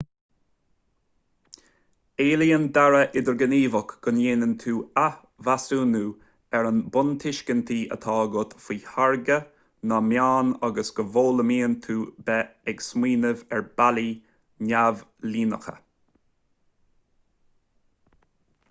éilíonn dearadh idirghníomhach go ndéanann tú athmheasúnú ar na buntuiscintí atá agat faoi tháirgeadh na meán agus go bhfoghlaimíonn tú beith ag smaoineamh ar bhealaí neamhlíneacha